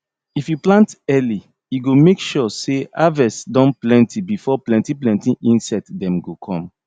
if you plant early e go make sure say harvest don plenty before plenty plenty insect dem go come